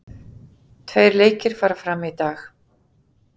Tveir leikir fara fram í dag